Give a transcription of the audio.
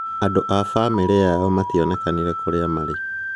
Andũ ya famìlì yao matìokene kũrìa marì.